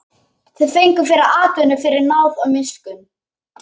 Þau fengu fyrri atvinnu fyrir náð og miskunn.